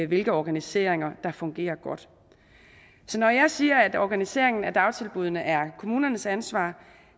hvilke organiseringer der fungerer godt så når jeg siger at organiseringen af dagtilbuddene er kommunernes ansvar